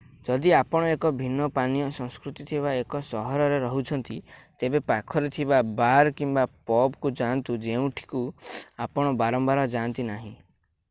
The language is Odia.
ଯଦି ଆପଣ ଏକ ଭିନ୍ନ ପାନୀୟ ସଂସ୍କୃତି ଥିବା ଏକ ସହରରେ ରହୁଛନ୍ତି ତେବେ ପାଖରେ ଥିବା ବାର୍ କିମ୍ବା ପବ୍ କୁ ଯାଆନ୍ତୁ ଯେଉଁଠିକୁ ଆପଣ ବାରମ୍ବାର ଯାଆନ୍ତି ନାହିଁ